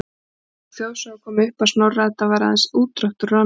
Sú þjóðsaga kom upp að Snorra-Edda væri aðeins útdráttur úr annarri